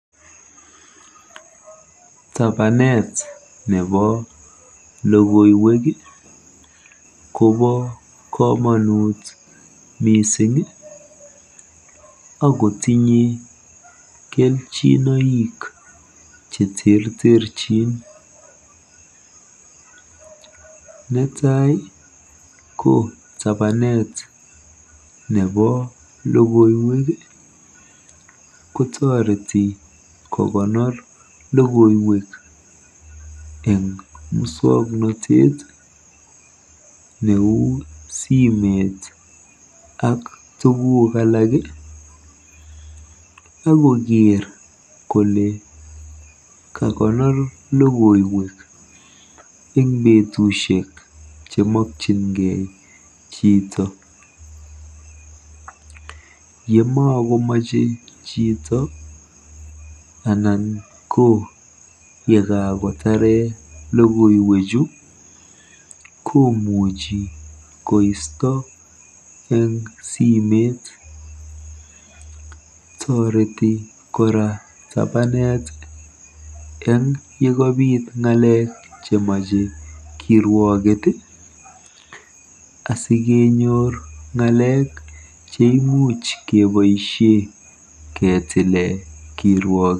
Tapanet nebo logoiwek kobo komonut miising akotinye kelchinoik cheterterchin. Netai ko tapanet nepo logoiwek kotoreti kokonor logoiwek eng muswoknotet neuu simet ak tuguuk alak akokeer kole kakonor logoiwek eng betusiek chemakyingei chito. Yemakomachei chito anan ko yekakotare logoiwechu komuchi koisto eng simeet. Toreti kora tapanet eng yekabiit ng'alek chemachei kirwoket asikenyor ng'alek cheimuch keboisie ketile kirwokwet.